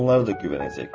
Onlar da güvənəcək.